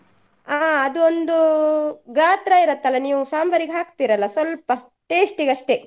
ಹಾ ಅದೊಂದೂ ಗಾತ್ರ ಇರುತ್ತಲ್ಲ ನೀವು ಸಾಂಬಾರ್ಗೆ ಹಾಕ್ತಿರಲ್ಲಾ ಸ್ವಲ್ಪ taste ಗಷ್ಟೇ.